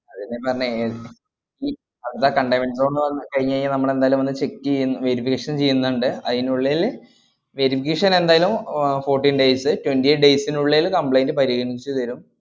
അതെന്നെയാ പറഞ്ഞേ ഏർ ഈ further containment zone ന്ന് പറഞ്ഞ് കയിഞ്ഞിഞ്ഞാ നമ്മളെന്തായാലും വന്ന് check എയ്യും verification ചെയ്യുന്നുണ്ട്. അയിനുള്ളില് verification എന്തായാലും അഹ് fourteen days അ് twenty eight days നുള്ളില് complaint പരിഗണിച്ചു തരും.